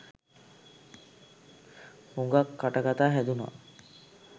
හුගක් කටකතා හැදුනා.